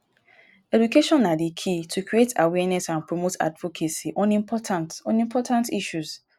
education na di key to create awareness and promote advocacy on important on important issues.